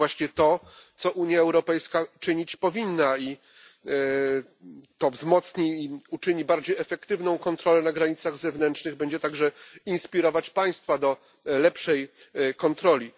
To jest właśnie to, co Unia Europejska powinna czynić, i to wzmocni i uczyni bardziej efektywną kontrolę na granicach zewnętrznych, będzie także inspirować państwa do lepszej kontroli.